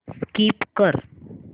skip कर